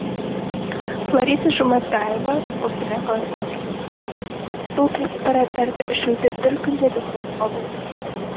лариса жұматаева қостанай қаласының тұрғыны бұл препараттарды ішуді бір күн де тоқтатуға болмайды